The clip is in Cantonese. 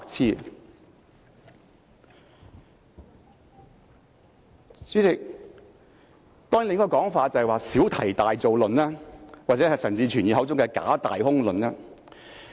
代理主席，另一種說法是小題大做論，又或者是陳志全議員口中的"假、大、空"論。